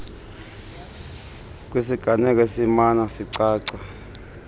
kwisiganeko esimana sicaca